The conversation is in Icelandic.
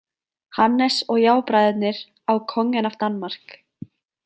Hannes og jábræðurnir á Kongen af Danmark.